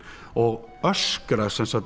og öskra sem sagt